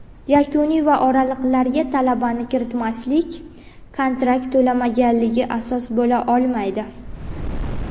yakuniy va oraliqlarga talabani kiritmaslik uchun kontraktni to‘lamaganligi asos bo‘la olmaydi.